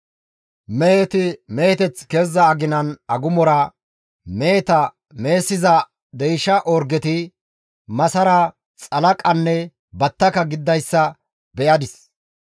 «Meheti meheteth keziza aginan agumora meheta mehessiza deysha orgeti masara, xalaqanne battaka gididayssa beyadis.